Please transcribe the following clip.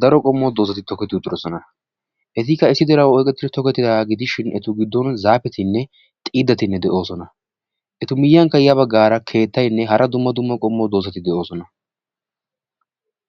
daro qommo doozati tokketi uttidoosona; etu miyyiyaankka ya baggara keettaynne hara dumma dumma qommo doozati tokketi uttidoosona.